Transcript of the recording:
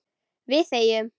Við þegjum.